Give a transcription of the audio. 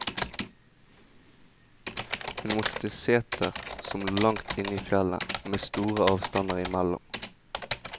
Hun måtte til setrer som lå langt inne i fjellet, med store avstander imellom.